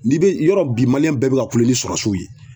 N'i be yɔrɔ bi bɛɛ bi ka kule ni ye